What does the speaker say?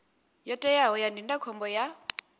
yo teaho ya ndindakhombo ya